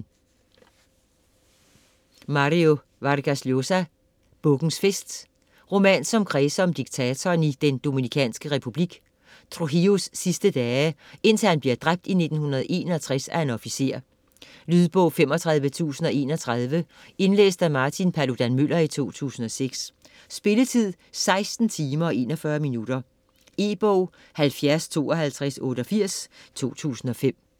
Vargas Llosa, Mario: Bukkens fest Roman som kredser om dikatoren i Den Dominikanske Republik, Trujiilos sidste dage, indtil han bliver dræbt i 1961 af en officer. Lydbog 35031 Indlæst af Martin Paludan-Müller, 2006 Spilletid: 16 timer, 41 minutter. E-bog 705288 2005.